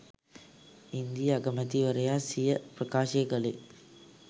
ඉන්දීය අගමැති වරයා සිය ප්‍රකාශය කළේ